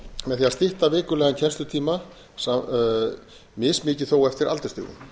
með því að stytta vikulegan kennslutíma mismikið þó eftir aldursstigum